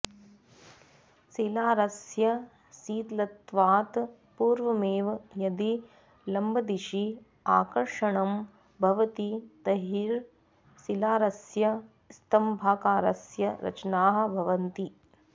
शिलारसस्य शीतलत्वात् पूर्वमेव यदि लम्बदिशि आकर्षणं भवति तर्हि शिलारसस्य स्तम्भाकारस्य रचनाः भवन्ति